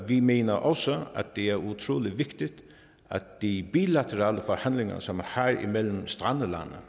vi mener også at det er utrolig vigtigt at de bilaterale forhandlinger som man har imellem strandlande